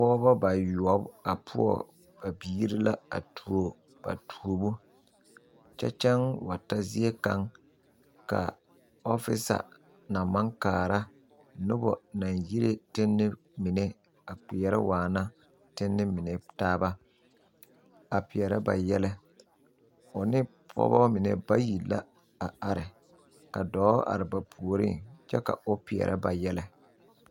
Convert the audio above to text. Pɔɔbɔ bayoɔbo a poɔ ba biire la a tuo ba tuobo kyɛ kyɛŋ wa ta zie kaŋ ka ɔfisa na maŋ kaara nobɔ naŋ yire tenne mine a kpɛɛrɛ waana tenne mine taaba a pɛɛrɛ ba yɛlɛ o ne pɔɔbɔ mine bayi la a are ka dɔɔ are ba puoriŋ kyɛ ka pɔɔ pɛɛrɛ ba yɛlɛ.